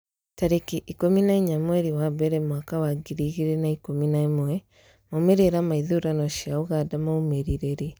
tarĩki ikũmi na inya mweri wa mbere mwaka wa ngiri igĩrĩ na ikũmi na ĩmwemaumĩrĩra ma ithurano cia Uganda maumire rĩ?